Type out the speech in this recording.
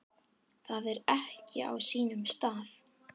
Það er ekki á sínum stað.